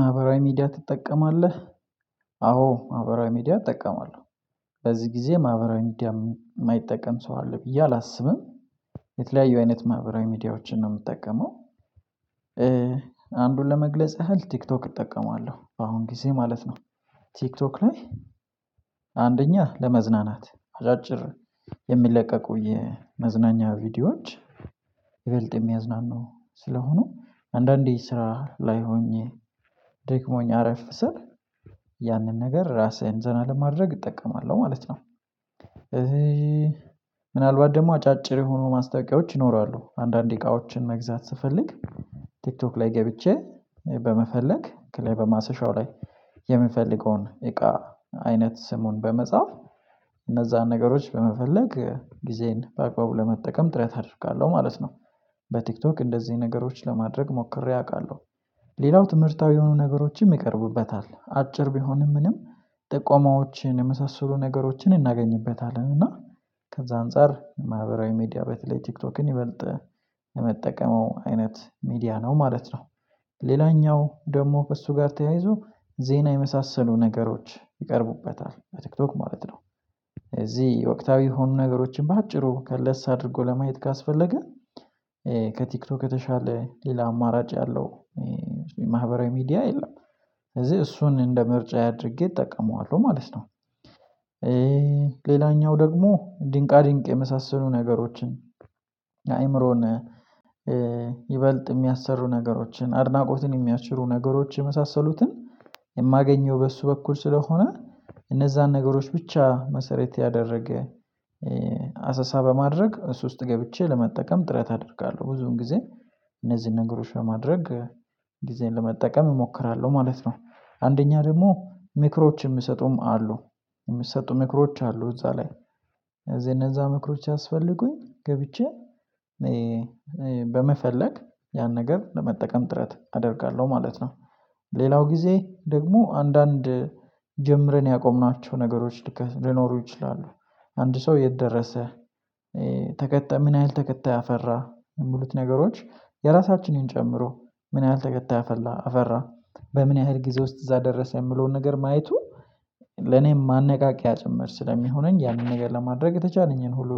ማህበራዊ ሚዲያ ትጠቀማለህ? አዎ ማህበራዊ ሚዲያ እጠቀማለሁ በዚህ ጊዜ ማህበራዊ ሚዲያ የማይጠቀም ሰው አለ ብዬ አላስብም። የተለያዩ አይነት ማህበራዊ ሚዲያዎችን ነው የምጠቀመው። አንዱን ለመግለጽ ያህል ቲክቶክ እጠቀማለሁ በአሁን ጊዜ ማለት ነው። ቲክቶክ ላይ አንደኛ ለመዝናናት አጫጭር የሚለቀቁ የመዝናኛ ቪዲዮዎች ይበልጥ የሚያዝናኑ ስለሆኑ አንዳንዴ ስራ ላይ ሆኜ ደክሞኝ አረፍ ስል ያንን ነገር ራሴን ዘና ለማድረግ እጠቀማለሁ ማለት ነው። ምናልባት ደግሞ አጫጭር የሆኑ ማስታወቂያዎች ይኖራሉ አንዳንዴ እቃዎችን መግዛት ስፈልግ ቲክቶክ ላይ ገብቼ በመፈለግ ከላይ በማሰሻው ላይ የምፈልገውን እቃ አይነት ስሙን በመጻፍ እነዛን ነገሮች በመፈለግ ጊዜዬን በአግባቡ ለመጠቀም ጥረት አደርጋለሁ ማለት ነው። በቲክቶክ እንደዚህ ነገሮች ለማድረግ ሞክሬ አውቃለሁ ሌላው ትምህርታዊ የሆኑ ነገሮችን ይቀርቡበታል አጭር ቢሆንም ምንም ጥቆማዎችን የመሳሰሉ ነገሮችን እናገኝበታለን እና ከዛ አንፃር ማህበራዊ ሚዲያ በተለይ ቲክቶክን ይበልጥ የምጠቀመው አይነት ሚዲያ ነው ማለት ነው። ሌላኛው ደግሞ ከእሱ ጋር ተያይዞ ዜና የመሳሰሉ ነገሮች ይቀርቡበታል በቲክቶክ ማለት ነው። እዚህ የወቅታዊ የሆኑ ነገሮችን በአጭሩ ከለስ አድርጎ ለማየት ካስፈለገ ከቲክቶክ የተሻለ ሌላ አማራጭ ያለው የማህበራዊ ሚዲያ የለም። እዚህ እሱን እንደ ምርጫዬ አድርጌ እጠቀመዋለሁ ማለት ነው። ሌላኛው ደግሞ ድንቃ ድንቅ የመሳሰሉ ነገሮችን አእምሮን ይበልጥ የሚያሰሩ ነገሮችን አድናቆትን የሚያስችሩ ነገሮች የመሳሰሉትን የማገኘው በእሱ በኩል ስለሆነ እነዛን ነገሮች ብቻ መሰረት ያደረገ አሰሳ በማድረግ እሱ ውስጥ ገብቼ ለመጠቀም ጥረት አደርጋለሁ ብዙውን ጊዜ እነዚህን ነገሮች ለማድረግ ጊዜን ለመጠቀም እሞክራለሁ ማለት ነው አንደኛ ደግሞ ምክሮች የሚሰጡም አሉ የሚሰጡ ምክሮች አሉ እዛ ላይ ስለዚህ እነዛ ምክሮች ሲያስፈልጉኝ ገብቼ በመፈለግ ያን ነገር ለመጠቀም ጥረት አደርጋለሁ ማለት ነው። ሌላው ጊዜ ደግሞ አንዳንድ ጀምረን ያቆምናቸው ነገሮች ልክ ሊኖሩ ይችላሉ አንድ ሰው የት ደረሰ ተከታይ ምን ያህል ተከታይ አፈራ የሚሉት ነገሮች የራሳችንን ጨምሮ ምን ያህል ተከታይ አፈላ አፈራ በምን ያህል ጊዜ ውስጥ እዛ ደረሰ የሚለውን ነገር ማየቱ ለኔም ማነቃቂያ ጭምር ስለሚሆነኝ ያንን ነገር ለማድረግ የተቻለኝን ሁሉ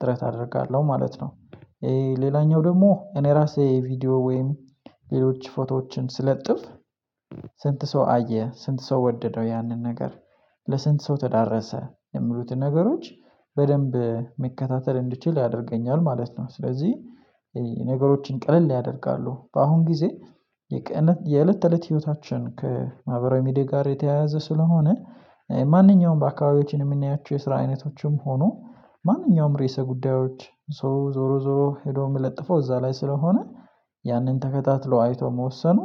ጥረት አደርጋለሁ ማለት ነው። ሌላኛው ደግሞ እኔ ራሴ ቪዲዮ ወይም ሌሎች ፎቶዎችን ስለጥፍ ስንት ሰው አየ ስንት ሰው ወደደው ያንን ነገር ለስንት ሰው ተዳረሰ የሚሉትን ነገሮች በደንብ መከታተል እንድችል ያደርገኛል ማለት ነው። ስለዚህ ነገሮችን ቀለል ያደርጋሉ በአሁን ጊዜ የቀነት የእለት ተእለት ህይወታችን ከማህበራዊ ሚዲያ ጋር የተያያዘ ስለሆነ ማንኛውም በአካባቢያችን የምናያቸው የስራ አይነቶችም ሆኖ ማንኛውም ረዕሰ ጉዳዮች ሰው ዞሮ ዞሮ ሄዶ የሚለጥፈው እዛ ላይ ስለሆነ ያንን ተከታትሎ አይቶ መወሰኑ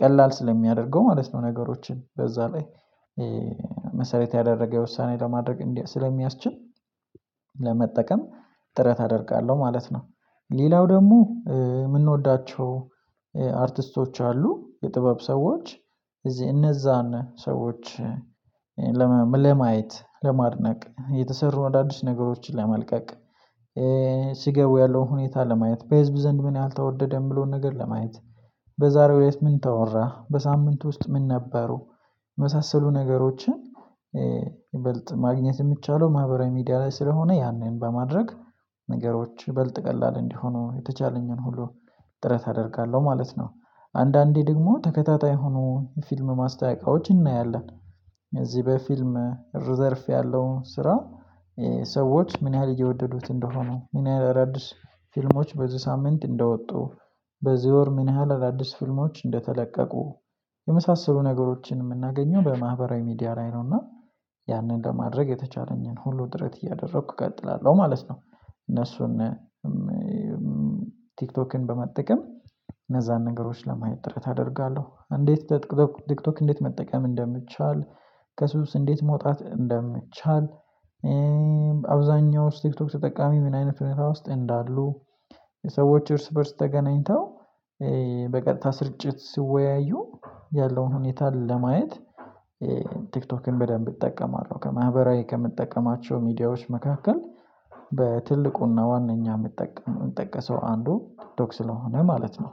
ቀላል ስለሚያደርገው ማለት ነው ነገሮችን በዛ ላይ መሰረት ያደረገ ውሳኔ ለማድረግ ስለሚያስችል ለመጠቀም ጥረት አደርጋለሁ ማለት ነው። ሌላው ደግሞ ምንወዳቸው አርቲስቶች አሉ የጥበብ ሰዎች እዚህ እነዛን ሰዎች ለማየት ለማድነቅ የተሰሩ አዳዲስ ነገሮችን ለመልቀቅ ሲገቡ ያለውን ሁኔታ ለማየት በህዝብ ዘንድ ምን ያህል ተወደደ የሚለውን ነገር ለማየት በዛሬው እለት ምን ተወራ በሳምንት ውስጥ ምን ነበሩ የመሳሰሉ ነገሮችን ይበልጥ ማግኘት የሚቻለው ማህበራዊ ሚዲያ ላይ ስለሆነ ያንን በማድረግ ነገሮች ይበልጥ ቀላል እንዲሆኑ የተቻለኝን ሁሉ ጥረት አደርጋለሁ ማለት ነው። አንዳንዴ ደግሞ ተከታታይ የሆኑ የፊልም ማስታወቂያዎች እናያለን እዚህ በፊልም ዘርፍ ያለውን ስራ ሰዎች ምን ያህል እየወደዱት እንደሆኑ ምን ያህል እዳዲስ ፊልሞች በዚህ ሳምንት እንደወጡ በዚህ ወር ምን ያህል አዳዲስ ፊልሞች እንደተለቀቁ የመሳሰሉ ነገሮችን የምናገኘው በማህበራዊ ሚዲያ ላይ ነውና ያንን ለማድረግ የተቻለኝን ሁሉ ጥረት እያደረኩ እቀጥላለሁ ማለት ነው። እነሱን ቲክቶክን በመጠቀም እነዛን ነገሮች ለማየት ጥረት አደርጋለሁ እንዴት ቲክቶክ እንዴት መጠቀም እንደሚቻል? ከሱስ እንዴት መውጣት እንደሚቻል? አብዛኛውስ ቲክቶክ ተጠቃሚ ምን አይነት ሁኔታ ውስጥ እንዳሉ? ሰዎች እርስ በእርስ ተገናኝተው በቀጥታ ስርጭት ሲወያዩ ያለውን ሁኔታ ለማየት ቲክቶክን በደንብ እጠቀማለሁ ከማህበራዊ ከምጠቀማቸው ሚዲያዎች መካከል በትልቁና ዋናኛ የምጠቀም የምጠቀሰው አንዱ ቲክቶክ ስለሆነ ማለት ነው።